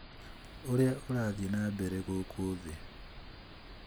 ũrĩa ũrathiĩ na mbere gũkũ thĩ